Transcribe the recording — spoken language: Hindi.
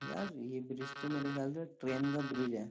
यार ये ब्रिज तो मेरे ख्याल से ट्रेन का ब्रिज है।